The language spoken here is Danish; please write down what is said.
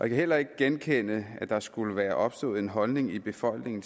heller ikke genkende at der skulle være opstået en holdning i befolkningen